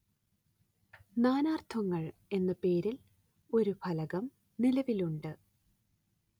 നാനാര്‍ത്ഥങ്ങള്‍ എന്ന പേരില്‍ ഒരു ഫലകം നിലവിലുണ്ട്